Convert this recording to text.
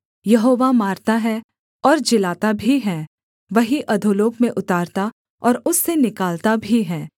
यहोवा मारता है और जिलाता भी है वही अधोलोक में उतारता और उससे निकालता भी है